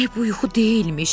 Demək bu yuxu deyilmiş.